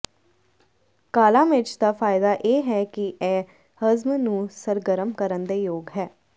ਕਾਲਾ ਮਿਰਚ ਦਾ ਫਾਇਦਾ ਇਹ ਹੈ ਕਿ ਇਹ ਹਜ਼ਮ ਨੂੰ ਸਰਗਰਮ ਕਰਨ ਦੇ ਯੋਗ ਹੈ